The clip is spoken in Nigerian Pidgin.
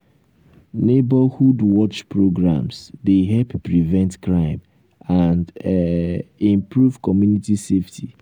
neighborhood watch programs dey help prevent crime and um improve community safety.